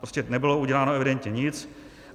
Prostě nebylo uděláno evidentně nic.